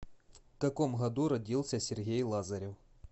в каком году родился сергей лазарев